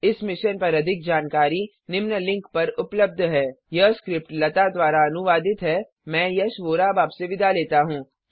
इस मिशन पर अधिक जानकारी निम्न लिंक पर उपलब्ध है httpspoken tutorialorgNMEICT Intro यह स्क्रिप्ट लता द्वारा अनुवादित है मैं यश वोरा अब आपसे विदा लेता हूँ